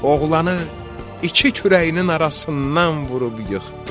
Oğlanı iki kürəyinin arasından vurub yıxdı.